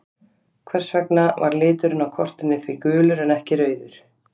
Hvers vegna var liturinn á kortinu því gulur en ekki rauður?